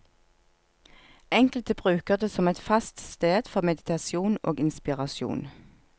Enkelte bruker det som et fast sted for meditasjon og inspirasjon.